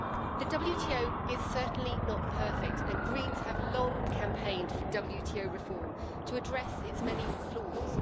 The WTO is certainly not perfect, and Greens have long campaigned for WTO reform to address its many flaws.